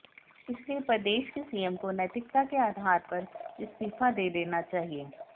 इसलिए प्रदेश के सीएम को नैतिकता के आधार पर इस्तीफा दे देना चाहिए